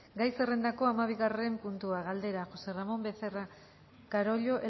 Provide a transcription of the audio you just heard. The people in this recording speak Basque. gai zerrendako hamabigarren puntua galdera josé ramón becerra carollo